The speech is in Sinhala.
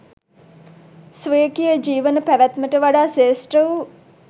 ස්වකීය ජීවන පැවැත්මට වඩා ශ්‍රේෂ්ඨ වූ